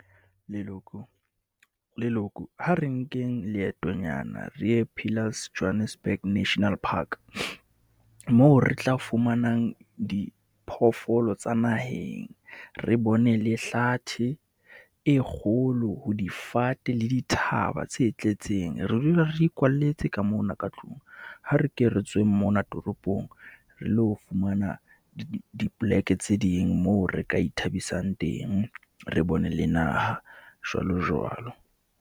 Leloko, leloko ha re nkeng leetonyana re ye Pilas Johannesburg national park, moo re tla fumanang diphoofolo tsa naheng, re bone le hlathe e kgolo ho difate le dithaba tse tletseng. Re dula re ikwalletse ka mona ka tlung. Ha re ke re tsweng mona toropong, re lo fumana dipoleke tse ding moo re ka ithabisang teng, re bone le naha jwalojwalo.